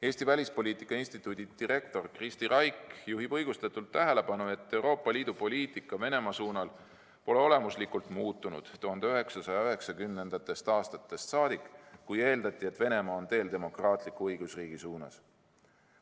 Eesti Välispoliitika Instituudi direktor Kristi Raik juhib õigustatult tähelepanu sellele, et Euroopa Liidu poliitika Venemaa suunal pole olemuslikult muutunud 1990. aastatest saadik, kui eeldati, et Venemaa on teel demokraatlikuks õigusriigiks saamise suunas.